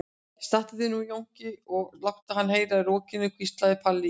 Stattu þig nú Jónki og láttu hann heyra í rokinu, hvíslaði Palli í